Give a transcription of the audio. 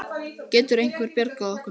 Getur einhver bjargað okkur núna?